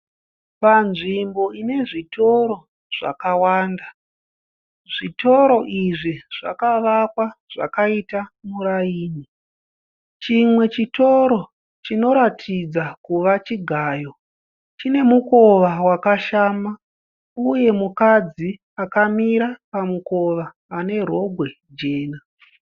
Panzvimbo ine zvitoro zvakawanda. Zvitoro izvi zvakavakwa zvakaita muraini. Chimwe chitoro chinoratidza kuvachigayo, chine mukova wakashama, uye mukadzi akamira pamukova anerogwe jena.